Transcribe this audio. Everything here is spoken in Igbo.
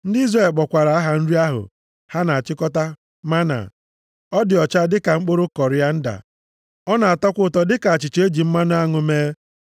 Ndị Izrel kpọkwara aha nri ahụ ha na-achịkọta mánà. Ọ dị ọcha dịka mkpụrụ kọrianda. Ọ na-atọkwa ụtọ dịka achịcha e ji mmanụ aṅụ mee.